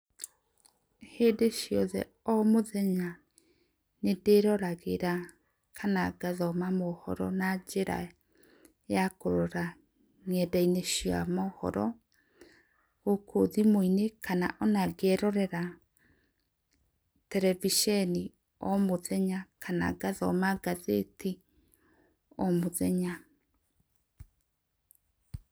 Hĩndĩ ciothe o mũthenya, nĩ ndĩroragĩra kana gathoma mohoro na njĩra ya kũrora nenda inĩ cia mohoro gũkũ thĩmũ inĩ, kana ona ngerorera terebiceni o mũthenya, kana ngathoma gatheti o mũthenya.